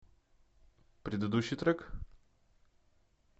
предыдущий трек